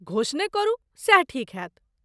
घोषणे करू, सैह ठीक होयत।